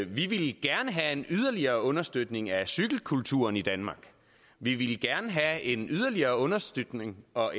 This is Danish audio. ville gerne have en yderligere understøtning af cykelkulturen i danmark og vi ville gerne have en yderligere understøtning og